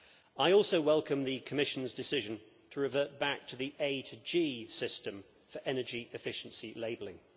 I also welcome the Commission's decision to revert back to the A to G system for energy efficiency labelling.